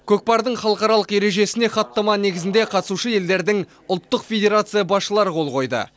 көкпардың халықаралық ережесіне хаттама негізінде қатысушы елдердің ұлттық федерация басшылары қол қойды